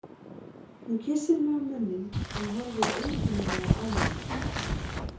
Hún kyssir mig á munninn en horfir einkennilega á mig.